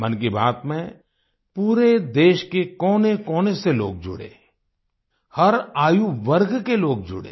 मन की बात में पूरे देश के कोनेकोने से लोग जुड़े हर आयुवर्ग के लोग जुड़े